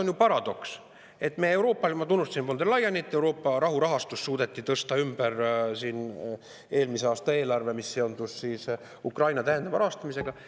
Ma tunnustasin von der Leyenit, et suudeti Euroopa rahurahastu eelmise aasta eelarvet, mis seondus Ukraina täiendava rahastamisega.